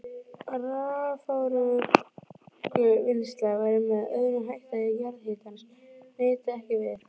Raforkuvinnsla væri með öðrum hætti ef jarðhitans nyti ekki við.